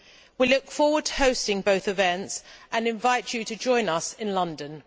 We look forward to hosting both events and invite you to join us in London.